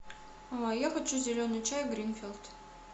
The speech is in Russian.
я хочу зеленый чай гринфилд